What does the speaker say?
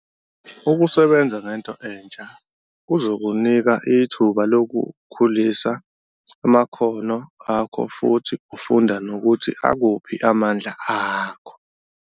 Ukusebenza ngento entsha kuzokunika ithuba lokukhulisa amakhono akho futhi ufunda nokuthi akuphi amandla akho.